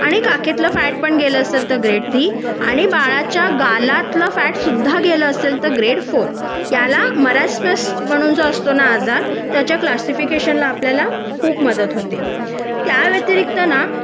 आणि काखेतलं फॅट पण गेल असेल तर ग्रेड थ्री आणि बालाच्या गालातलं फॅट सुद्धा गेला असेल तर ग्रेड फोर याला मरस्मास म्हणून जो असतो ना आजार त्याच्या क्लासिफिकेशन ला आपल्याला खूप मदत होते त्या व्यतिरिक्त ना